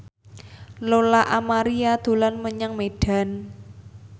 Lola Amaria dolan menyang Medan